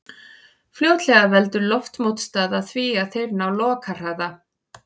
Fljótlega veldur loftmótstaða því að þeir ná lokahraða.